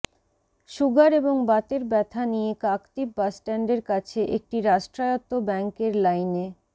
sugar এবং বাতের ব্যথা নিয়ে কাকদ্বীপ বাসস্ট্যান্ডের কাছে একটি রাষ্ট্রায়ত্ত ব্যাঙ্কের লাইনে